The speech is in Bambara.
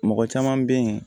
Mɔgɔ caman bɛ yen